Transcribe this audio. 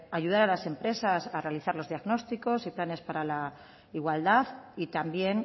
ayudar a las empresas a realizar los diagnósticos y planes para la igualdad y también